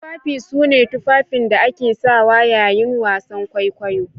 Tufafi sune Tufafin da ake sawa yayin wasan kwaikwayo